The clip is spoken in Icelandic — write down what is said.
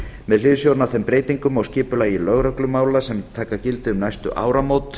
með hliðsjón af þeim breytingum á skipulagi lögreglumála sem taka gildi um næstu áramót